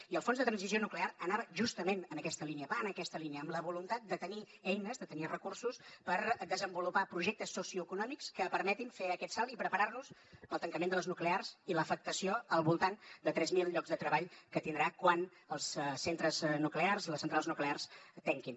i el fons de transició nuclear anava justament en aquesta línia va en aquesta línia amb la voluntat de tenir eines de tenir recursos per desenvolupar projectes socioeconòmics que permetin fer aquest salt i preparar nos per al tancament de les nuclears i l’afectació al voltant de tres mil llocs de treball que tindrà quan les centrals nuclears tanquin